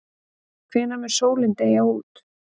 Hvenær mun sólin deyja út?